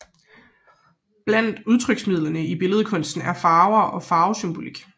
Blandt udtryksmidlerne i billedkunsten er farver og farvesymbolik